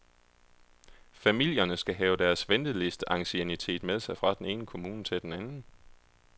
Familierne skal have deres ventelisteanciennitet med sig fra den ene kommune til den anden.